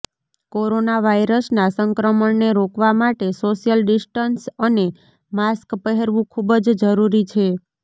corona વાઈરસનાં સંક્રમણને રોકવા માટે સોશ્યલ ડિસ્ટન્સ અને માસ્ક પહેરવું ખૂબ જ જરૂરી છે